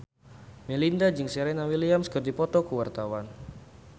Melinda jeung Serena Williams keur dipoto ku wartawan